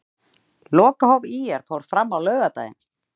Lokahóf ÍR fór fram á laugardaginn.